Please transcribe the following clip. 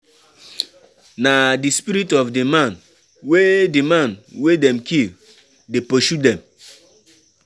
Na di spirit of di man wey di man wey dem kill dey pursue dem.